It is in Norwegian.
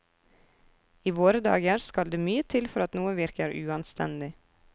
I våre dager skal det mye til for at noe virker uanstendig.